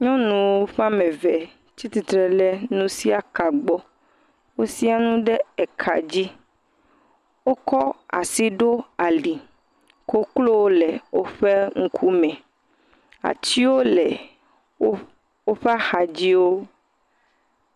Nyɔnu ƒe ame eve tsi atsitre ɖe nusiaka gbɔ. Wosɛ̃a nu ɖe ka dzi. Wokɔ asi ɖo ali. Koklowo le woƒe ŋkume. Atiwo le woƒe axadziwo.